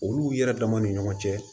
Olu yɛrɛ damaw ni ɲɔgɔn cɛ